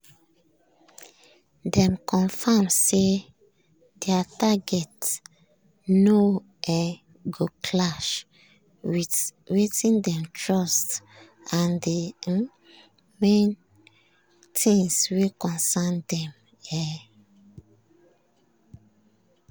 dem confirm say their targets no um go clash with wetin dem trust and di um main things wey concern dem. um